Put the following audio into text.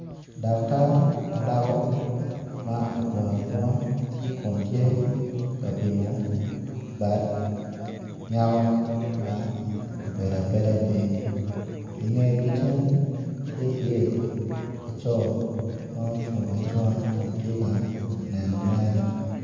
Daktar ma dako ma ogungu agunga Kun tye ka pimo bad nyako ma obedo abeda piny inge ki cen tye iye laco ma ocung acunga Kun tye ka nenone